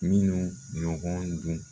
Minnu ɲɔgɔn dun